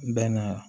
Bɛnna